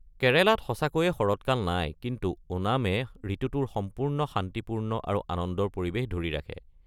কেৰালাত সঁচাকৈয়ে শৰৎকাল নাই, কিন্তু ওনামে ঋতুটোৰ সম্পূৰ্ণ শান্তিপূৰ্ণ আৰু আনন্দৰ পৰিৱেশ ধৰি ৰাখে।